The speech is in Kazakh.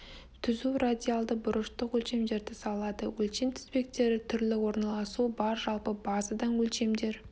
түзу радиальді бұрыштық өшемдерді салады өлшем тізбектері түрлі орналасуы бар жалпы базадан өлшемдер